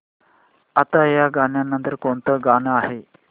आता या नंतर कोणतं गाणं आहे